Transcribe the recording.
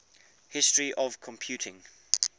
history of computing